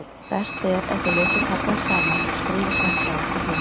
Best er ef þið lesið kaflann saman og skrifið síðan hjá ykkur hugmyndir.